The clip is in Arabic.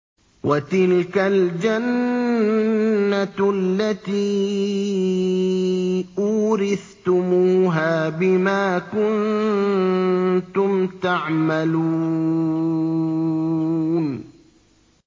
وَتِلْكَ الْجَنَّةُ الَّتِي أُورِثْتُمُوهَا بِمَا كُنتُمْ تَعْمَلُونَ